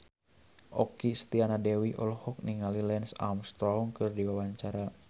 Okky Setiana Dewi olohok ningali Lance Armstrong keur diwawancara